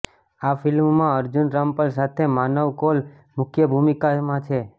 આ ફિલ્મમાં અર્જુન રામપાલ સાથે માનવ કોૈલ મુખ્ય ભુમિકામાં છે